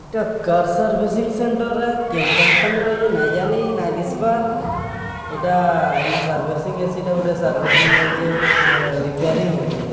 Car servicing centre କେନ company ର ନଈ ଯାନୀ ନଈ ଦିଶିବାର ଏଟା ସର୍ଭିସିଂ ଅଛି ଏଟା ଗୋଟେ ସର୍ଭିସିଂ ହଉଚି ଗୋଟେ ରିପ୍ୟରିଙ୍ଗି ହଉଚି।